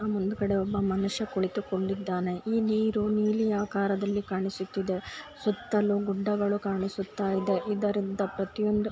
ಮುಂದುಗಡೆ ಕಡೆ ಒಬ್ಬ ಮನುಷ್ಯ ಕುಳಿತುಕೊಂಡಿದ್ದಾನೆ ಈ ನೀರು ನೀಲಿ ಆಕಾರದಲ್ಲಿ ಕಾಣಿಸುತ್ತಿದೆ ಸುತ್ತಲು ಗುಡ್ಡಗಳು ಕಾಣಿಸುತ್ತಾ ಇದೆ ಇದರಿಂದ ಪ್ರತಿಯೊಂದು--